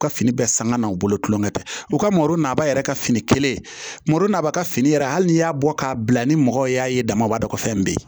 U ka fini bɛɛ sanga n'o bolo tulonkɛ u ka maro naba yɛrɛ ka fini kelen marɔ naba ka fini yɛrɛ hali n'i y'a bɔ k'a bila ni mɔgɔw y'a ye dama b'a dɔ ko fɛn bɛ yen